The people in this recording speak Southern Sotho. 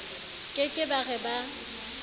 ke ke ba re ba